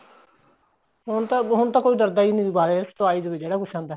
ਹੁਣ ਤਾਂ ਹੁਣ ਤਾਂ ਕੋਈ ਡਰਦਾ ਨਹੀਂ ਦੁਬਾਰਾ ਆਈ ਜਵੇ ਜਿਹੜਾ ਕੁੱਛ ਆਂਦਾ